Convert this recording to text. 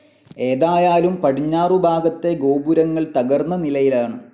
ഏതായാലും പടിഞ്ഞാറുഭാഗത്തെ ഗോപുരങ്ങൾ തകർന്ന നിലയിലാണ്.